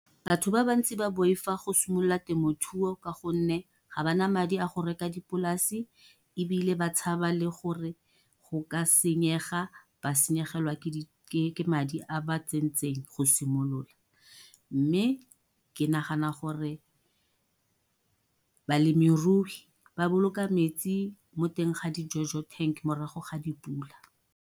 Batho ba bantsi ba boifa go simolola temothuo ka gonne, ga ba na madi a go reka dipolase, ebile ba tshaba le gore go ka senyega. Ba senyegelwa ke madi a ba tsentseng go simolola. Mme ke nagana gore balemirui ba boloka metsi mo teng ga dijojo tank morago ga dipula.